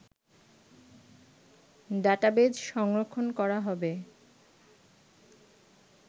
database সংরক্ষণ করা হবে